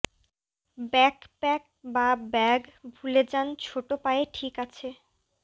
backpack বা bag ভুলে যান ছোট পায়ে ঠিক আছে